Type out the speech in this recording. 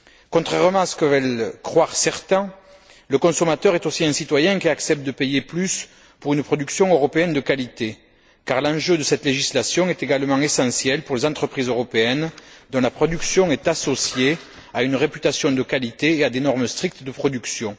Contrairement à ce que veulent croire certains, le consommateur est aussi un citoyen qui accepte de payer plus pour une production européenne de qualité, car l'enjeu de cette législation est également essentiel pour les entreprises européennes dont la production est associée à une réputation de qualité et à des normes strictes de production.